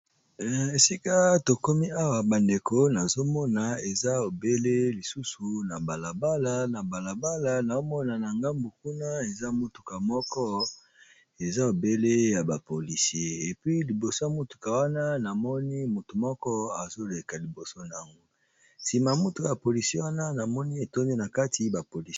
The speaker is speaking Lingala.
Esika tokomi awa bandeko nazomona eza ebele lisusu na balabala na balabala naomona na ngambu kuna eza motuka moko eza ebele ya bapolisi epi liboso ya motuka wana namoni motu moko azoleka liboso nango nsima motu ya polisi wana namoni etondi na kati bapolisi.